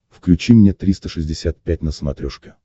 включи мне триста шестьдесят пять на смотрешке